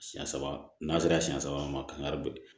Siyɛn saba n'a sera siɲɛ saba ma kari